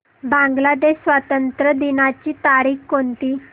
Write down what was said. बांग्लादेश स्वातंत्र्य दिनाची तारीख कोणती